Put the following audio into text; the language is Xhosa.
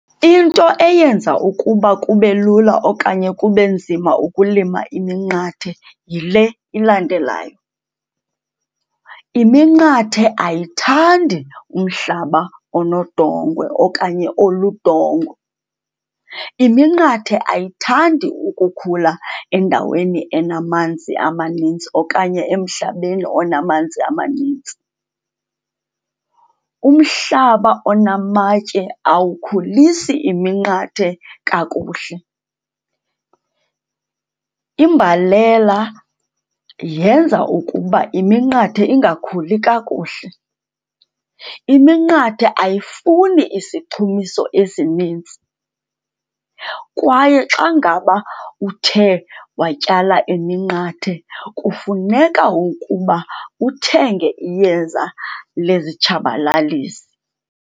Into eyenza ukuba kube lula okanye kube nzima ukulima iminqathe yile ilandelayo. Iminqathe ayithandi umhlaba onodongwe okanye oludongwe. Iminqathe ayithandi ukukhula endaweni enamanzi amanintsi okanye emhlabeni onamanzi amanintsi. Umhlaba onamatye awukhulisi iminqathe kakuhle. Imbalela yenza ukuba iminqathe ingakhuli kakuhle. Iminqathe ayifuni isichumiso esinintsi kwaye xa ngaba uthe watyala iminqathe, kufuneka ukuba uthenge iyeza lezitshabalalisi.